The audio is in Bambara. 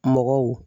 Mɔgɔw